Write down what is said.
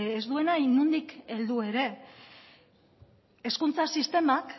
ez duena inondik heldu ere hezkuntza sistemak